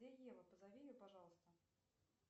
где ева позови ее пожалуйста